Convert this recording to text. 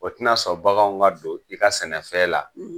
O tɛ na sɔn baganw ka don i ka sɛnɛ fɛn la;